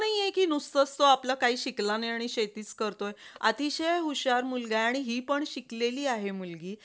असं नाहीय की आपलं काही शिकला नाही आणि शेतीचं करतोय. अतिशय हुशार मुलगा हाय आणि ही पण शिकलेली आहे मुलगी